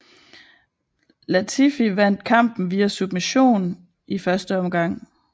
Latifi vandt kampen via submission i første omgang